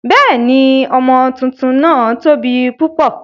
Bẹ́ẹ̀ni, ọmọ tuntun náà tóbi púpọ̀.